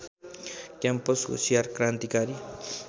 campus होसियार क्रान्तिकारी